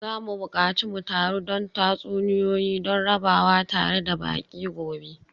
Za mu buƙaci mu taru don tatsuniyoyi don rabawa tare da baƙi gobe.